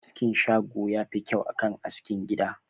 Askin shago yafi kyau akan askin gida